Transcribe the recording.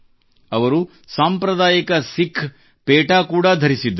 ಅವರು ಸಾಂಪ್ರದಾಯಿಕ ಸಿಖ್ ಪೇಟಾ ಕೂಡಾ ಧರಿಸಿದ್ದರು